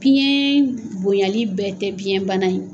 Piɲɛ bonyali bɛɛ tɛ biɲɛ bana ye.